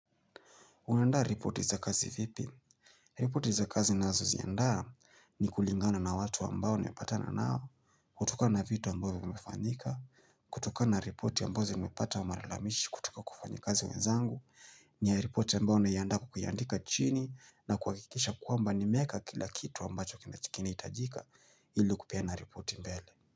Unandaa ripoti za kazi vipi? Ripoti za kazi ninazo ziandaa ni kulingana na watu ambao nimpatana nao kutokana na vitu ambao vimefanyika kutokana na ripoti ambao zimepata malalamishi kutoka kwa wafanyikazi wenzangu ni ya ripoti ambao naiandaa kwa kuyaandika chini na kuhakikisha kwamba nimeeka kila kitu ambacho kinachohitajika ili kupeana ripoti mbele.